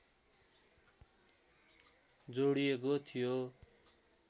जोडिएको थियो